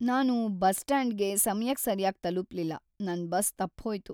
ನಾನು ಬಸ್ ಸ್ಟ್ಯಾಂಡ್‌ಗೆ ಸಮಯಕ್ ಸರ್ಯಾಗ್ ತಲುಪ್ಲಿಲ್ಲ, ನನ್ ಬಸ್ ತಪ್ಪ್‌ಹೋಯ್ತು.